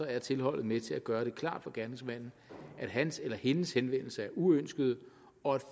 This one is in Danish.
er tilholdet med til at gøre det klart for gerningsmanden at hans eller hendes henvendelse er uønsket og at